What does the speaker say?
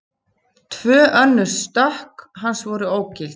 Tvö önnur stökk hans voru ógild